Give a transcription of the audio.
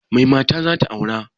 Mai mata zata aura?